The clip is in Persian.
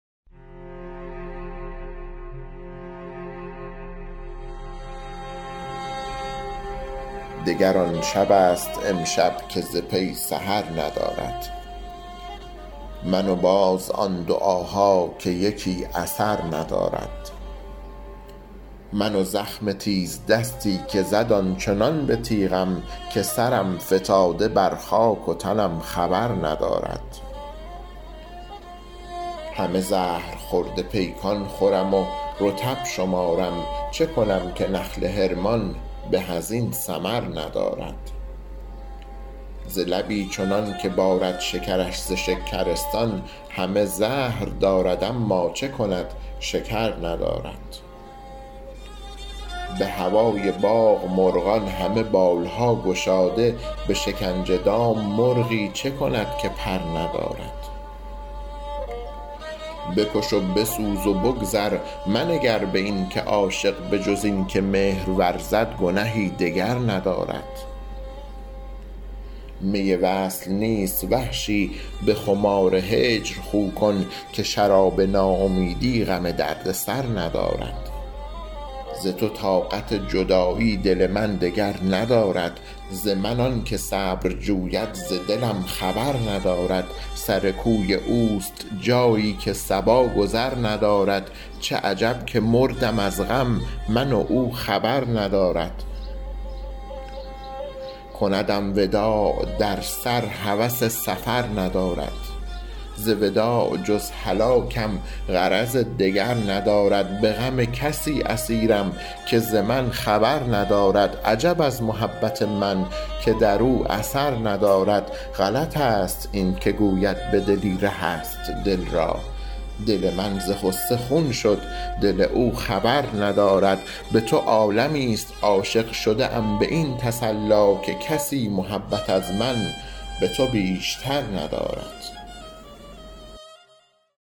دگر آن شبست امشب که ز پی سحر ندارد من و باز آن دعاها که یکی اثر ندارد من و زخم تیزدستی که زد آنچنان به تیغم که سرم فتاده بر خاک و تنم خبر ندارد همه زهرخورده پیکان خورم و رطب شمارم چه کنم که نخل حرمان به از این ثمر ندارد ز لبی چنان که بارد شکرش ز شکرستان همه زهر دارد اما چه کند شکر ندارد به هوای باغ مرغان همه بال ها گشاده به شکنج دام مرغی چه کند که پر ندارد بکش و بسوز و بگذر منگر به این که عاشق بجز این که مهر ورزد گنهی دگر ندارد می وصل نیست وحشی به خمار هجر خو کن که شراب ناامیدی غم درد سر ندارد